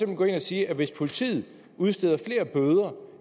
gå ind og sige at hvis politiet udsteder flere bøder